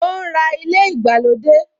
O ń ra ilé ìgbàlódé